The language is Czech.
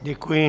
Děkuji.